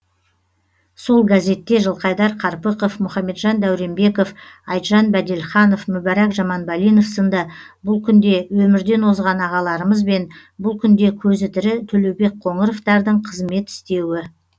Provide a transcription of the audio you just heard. сол газетте жылқайдар қарпықов мұхамеджан дәуренбеков айтжан бәделханов мүбәрак жаманбалинов сынды бұл күнде өмірден озған ағаларымыз бен бұл күнде көзі тірі төлеубек қоңыровтардың қызмет істеуі